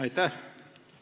Aitäh!